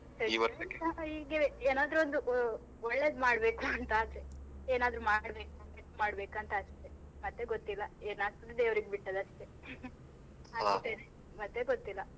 ಹೀಗೆವೆ ಏನಾದ್ರು ಒಂದು ಒ~ ಒಳ್ಳೇದು ಮಾಡ್ಬೇಕು ಅಂತ ಆಸೆ ಏನಾದ್ರೂ ಮಾಡ್ಬೇಕು ಅಂತ ಆಸೆ ಮತ್ತೆ ಗೊತ್ತಿಲ್ಲ ಏನ್ ಆಗ್ತದೆ ದೇವ್ರಿಗೆ ಬಿಟ್ಟದ್ದು ಅಷ್ಟೆ ಮತ್ತೆ ಗೊತ್ತಿಲ್ಲ.